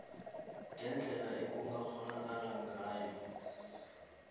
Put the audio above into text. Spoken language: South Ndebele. ngendlela ekungakghonakala ngayo